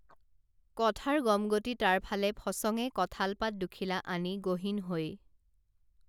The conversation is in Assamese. কথাৰ গমগতি তাৰ ফালে ফচঙে কঁঠাল পাত দুখিলা আনি গহীন হৈ